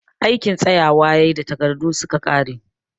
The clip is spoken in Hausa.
Aikin tsayawa ya yi da takardu su ka ƙare